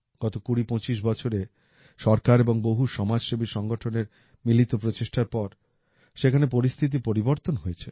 গত কুড়ি পঁচিশ বছরে সরকার এবং বহু সমাজসেবী সংগঠনের মিলিত প্রচেষ্টার পর সেখানে পরিস্থিতির পরিবর্তন হয়েছে